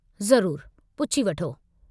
ज़रूरु, पुछी वठो।